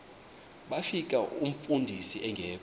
bafika umfundisi engekho